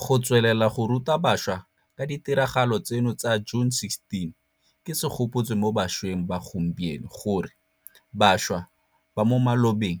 Go tswelela go ruta bašwa ka ditiragalo tseno tsa June 16 ke segopotso mo bašweng ba gompieno gore bašwa ba mo malobeng